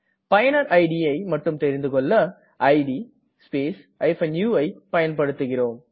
பயனரின் idஐ மட்டும் தெரிந்துகொள்ள இட் ஸ்பேஸ் uஐ பயன்படுத்துகிறோம்